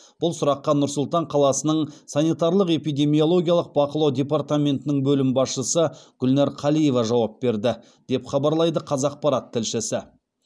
бұл сұраққа нұр сұлтан қаласының санитарлық эпидемиологиялық бақылау департаментінің бөлім басшысы гүлнәр қалиева жауап берді деп хабарлайды қазақпарат тілшісі